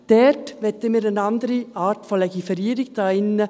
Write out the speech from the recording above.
Dort wollen wir eine andere Art von Legiferierung hier drin.